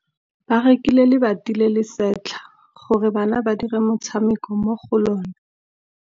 Ba rekile lebati le le setlha gore bana ba dire motshameko mo go lona.